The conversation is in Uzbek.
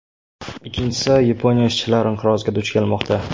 Ikkinchisi, Yaponiya ishchilar inqiroziga duch kelmoqda.